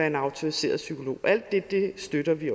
en autoriseret psykolog alt det støtter vi